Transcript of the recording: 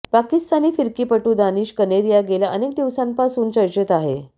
पाकिस्तानी फिरकीपटू दानिश कनेरिया गेल्या अनेक दिवसांपासून चर्चेत आहे